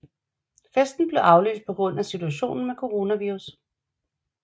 Festen blev aflyst på grund at situationen med coronavirus